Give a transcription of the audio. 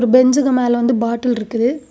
பெஞ்சுக்கு மேல வந்து பாட்டில் இருக்குது.